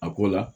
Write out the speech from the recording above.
A ko la